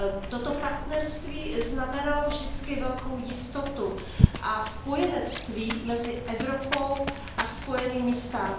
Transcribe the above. Toto partnerství znamenalo vždycky velkou jistotu a spojenectví mezi Evropou a USA.